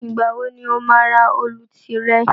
Ìgbà wo ni o máa ra òòlù tìrẹ